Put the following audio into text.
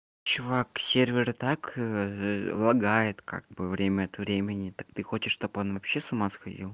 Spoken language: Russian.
чувак сервер и так лагает как бы время от времени так ты хочешь чтобы он вообще с ума сходил